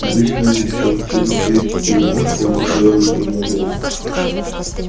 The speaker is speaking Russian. обычно они теперь через три-четыре месяца уже делали предложение